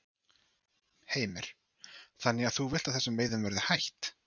Heimir: Þannig að þú vilt að þessum veiðum verði hætt?